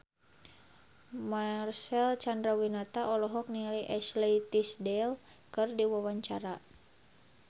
Marcel Chandrawinata olohok ningali Ashley Tisdale keur diwawancara